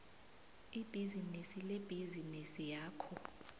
ibhizinisi lebhizinisi yakho